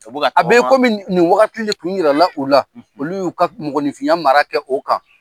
Ka bɔ ka tagama. A bɛ kɔmi nin wagati le kun yira la o la. Olu y'u ka mɔgɔninfinya mara kɛ o kan.